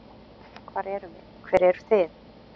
Hver erum við, hver eru þið?